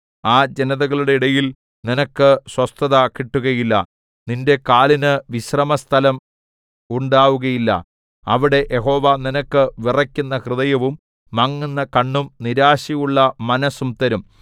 ആ ജനതകളുടെ ഇടയിൽ നിനക്ക് സ്വസ്ഥത കിട്ടുകയില്ല നിന്റെ കാലിന് വിശ്രാമസ്ഥലം ഉണ്ടാകുകയില്ല അവിടെ യഹോവ നിനക്ക് വിറയ്ക്കുന്ന ഹൃദയവും മങ്ങുന്ന കണ്ണും നിരാശയുള്ള മനസ്സും തരും